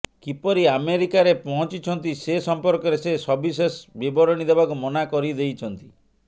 କିପରି ଆମେରିକାରରେ ପହଁଚିଛନ୍ତି ସେ ସମ୍ପର୍କରେ ସେ ସବିଶେଷ ବିବରଣୀ ଦେବାକୁ ମନା କରିଦେଇଛନ୍ତି